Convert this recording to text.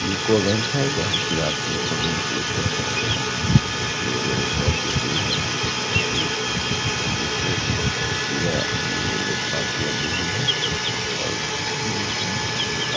UCO bank है जहाँ की आप यूको बैंक चेंज कर सकते हैं | ये बेगुसराई की सीन है जहाँ की यूको को श्रेय दिय गई है बाइक लगी हुई है और